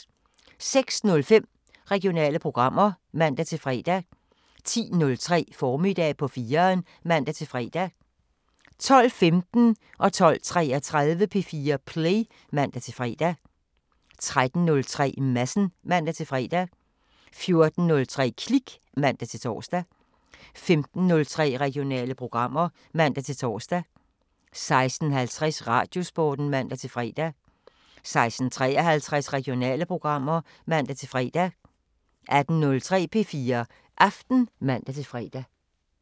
06:05: Regionale programmer (man-fre) 10:03: Formiddag på 4'eren (man-fre) 12:15: P4 Play (man-fre) 12:33: P4 Play (man-fre) 13:03: Madsen (man-fre) 14:03: Klik (man-tor) 15:03: Regionale programmer (man-tor) 16:50: Radiosporten (man-fre) 16:53: Regionale programmer (man-fre) 18:03: P4 Aften (man-fre)